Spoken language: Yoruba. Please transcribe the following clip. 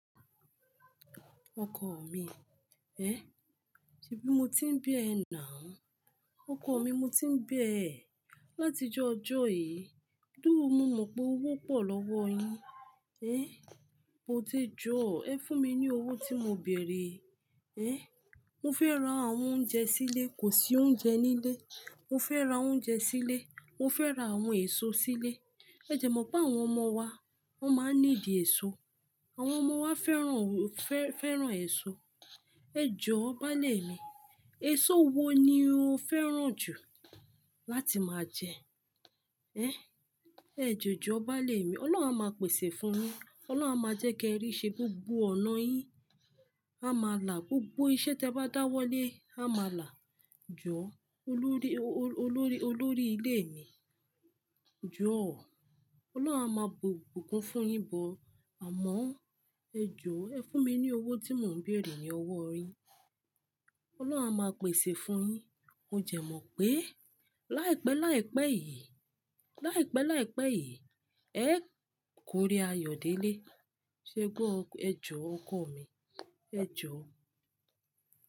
Ọkọ mi, ẹ, ṣebí mo ti ń bẹ ẹ now. Ọkọ mi, mo ti ń bẹ ẹ. Láti ojó ọjọ́ yìí, dúró, mo mọ̀ pé owó pọ̀ lọ́wọ́ yín. Ehn, e ti jọ̀, ẹ fún mi ní owó tí mo bèèrè. Ehn, mo fẹ́ ra àwọn oúnjẹ sílé, kò sí oúnjẹ nílé. Mo fẹ́ ra oúnjẹ sílé. Mo fẹ́ ra àwọn èso sílé. Ẹ dẹ̀ mọ̀ pé àwọn ọmọ wa, wọ́n máa ń níidi èso. Àwọn ọmọ wa fẹ́ràn, fẹ́-fẹ́ràn èso. E jò, báálé mi, èso wo ni o fẹ́ràn jù láti máa jẹ? Ehn, ẹ de joo, báálé mi. Ọlọ́run á máa pèsè fún yín. Ọlọ́run á máa jẹ́ kí ẹ rí ṣe gbogbo ọ̀nà yín. A máa là gbogbo iṣẹ́ tí ẹ bá dáwọ́lé, a máa là. Jọ̀, olórí, olo-olórí, olórí ilé mi, jọ̀ ọ́. Ọlọ́run á máa bu ogo, bu ogo fún yín but Àmọ́ ẹ jọ̀, ẹ fún mi ní owó tí mò ń bèèrè ní ọwọ́ yin. Ọlọ́run á máa pèsè fún yín. O dẹ̀ mọ̀ pé láìpẹ́ láìpẹ́ yìí, láìpẹ́ láìpẹ́ yìí, ẹ́ kó ire ayọ̀ délé. Ṣé gbó, ẹ jọ̀ ọkọ mi, ẹ jọ̀ ọ́.